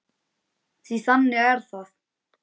Því að þannig er það!